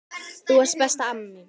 Þú varst besta amma mín.